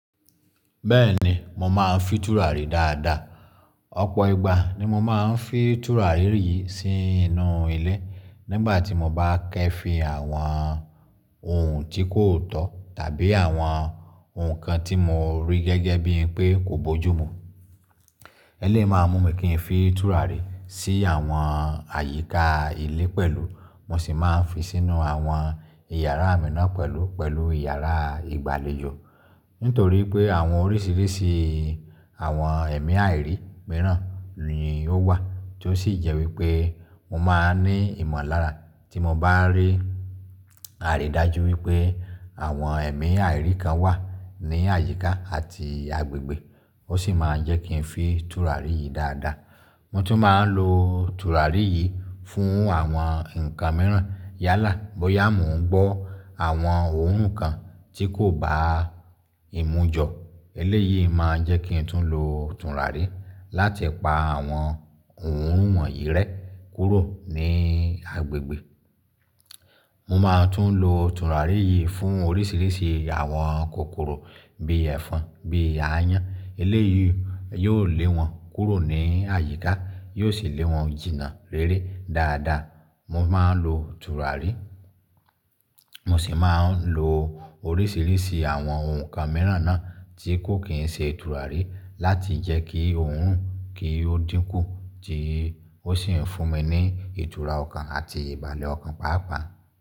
Bẹ́ẹ̀ni, mo máa ń fi tùràrí dáadáa. Ọ̀pọ̀ ìgbà ni mo máa ń fi tùràrí yìí sínú ilé nígbà tí mo bá kẹ́ fi àwọn ohun tí kò tọ́ tàbí àwọn ohun kan tí mo rí gẹ́gẹ́ bí pé kò bójú mu. Eléyí máa mú mi kí n fi tùràrí sí àwọn àyíká ilé pẹ̀lú mo sì máa ń fi sínú àwọn ìyàrá mi náà pẹ̀lú, pẹ̀lú ìyàrá ìgbàlejò. Nítorí pé àwọn oríṣiríṣi àwọn ẹ̀mí àìrí mìíràn ni ó wà tó sì jẹ́ wípé mo máa ní ìmọ̀lára tí mo bá rí àrídájú wípé àwọn ẹ̀mí àìrí kan wà ní àyíká àti agbègbè. Ó sì máa ń jẹ́ kí n fi tùràrí yìí dáadáa. Mo tún máa ń lo tùràrí yìí fún àwọn nǹkan mìíràn. Yálà, bóyá mo ń gbọ́ àwọn ohùn kan tí kò bá ìmu jọ, eléyìí máa ń jẹ́ kí n tún lo tùràrí láti pa àwọn ohùn wọ̀nyí rẹ́ kúrò ní agbègbè. Mo máa tún lo tùràrí yìí fún oríṣiríṣi àwọn kòkòrò bí ẹ̀fọn, bí àyàn. Eléyìí yóò lé wọn kúrò ní àyíká, yóò sì lé wọn jìnnà rere dáadáa. Mo máa ń lo tùràrí, mo sì máa ń lo oríṣiríṣi àwọn ohun kan mìíràn náà tí kò kí ń ṣe tùràrí láti jẹ́ kí ohun kì ó dínkù tí ó sì ń fún mi ní ìtura ọkàn àti ìbàlé ọkàn pàápàá.